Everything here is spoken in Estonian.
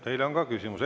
Teile on ka küsimusi.